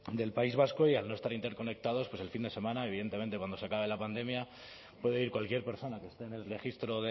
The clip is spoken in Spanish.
del país vasco y al no estar interconectados pues el fin de semana evidentemente cuando se acabe la pandemia puede ir cualquier persona que esté en el registro